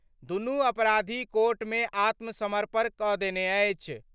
दुनू अपराधी कोर्ट मे आत्मसमर्पण क' देने अछि।